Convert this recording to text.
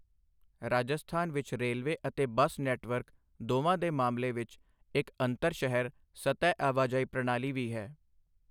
ਰਾਜਸਥਾਨ ਵਿੱਚ ਰੇਲਵੇ ਅਤੇ bus network ਦੋਵਾਂ ਦੇ ਮਾਮਲੇ ਵਿੱਚ ਇੱਕ ਅੰਤਰ ਸ਼ਹਿਰ ਸਤਹ ਆਵਾਜਾਈ ਪ੍ਰਣਾਲੀ ਵੀ ਹੈ।